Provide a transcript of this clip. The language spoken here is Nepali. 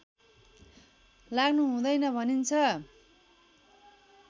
लाग्नु हुँदैन भनिन्छ